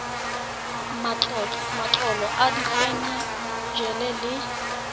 matlolo a diphen ene le